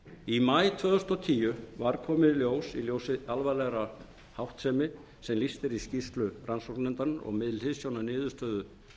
í maí tvö þúsund og tíu var komið í ljós í ljósi alvarlegrar háttsemi sem lýst er í skýrslu rannsóknarnefndarinnar og með hliðsjón af niðurstöðu